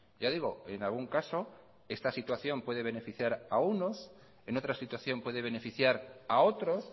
ya digo en algún caso esta situación puede beneficiar a unos en otra situación puede beneficiar a otros